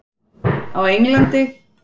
Á Englandi?